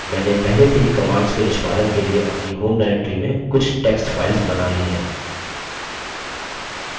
मैंने पहले से ही commands के निष्पादन के लिए अपनी home directory में कुछ text files बना ली हैं